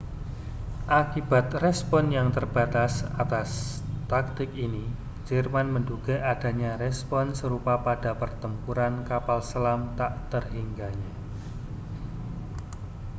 akibat respons yang terbatas atas taktik ini jerman menduga adanya respons serupa pada pertempuran kapal selam tak terhingganya